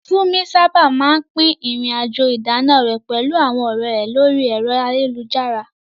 Funmi sábà máa ń pín ìrìn-àjò ìdáná rẹ̀ pẹ̀lú àwọn ọ̀rẹ́ rẹ̀ lórí ẹ̀rọ ayélujára.